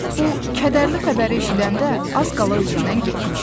Bu kədərli xəbəri eşidəndə az qala özündən getmişdi.